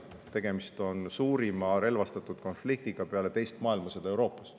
Tegemist on suurima relvastatud konfliktiga Euroopas peale teist maailmasõda.